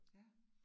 Ja